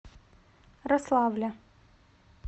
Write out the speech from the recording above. рославля